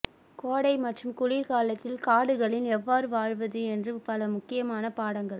கோடை மற்றும் குளிர்காலத்தில் காடுகளின் எவ்வாறு வாழ்வது என்று பல முக்கியமான பாடங்கள்